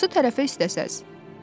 Hansı tərəfə istəsəniz.